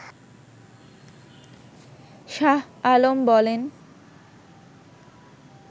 শাহ আলম বলেন